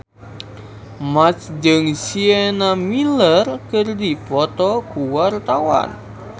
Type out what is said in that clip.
Marchell jeung Sienna Miller keur dipoto ku wartawan